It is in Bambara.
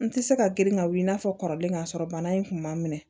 N tɛ se ka girin ka wuli i n'a fɔ kɔrɔlen k'a sɔrɔ bana in kun ma minɛ